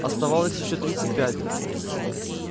оставалось ещё тридцать пять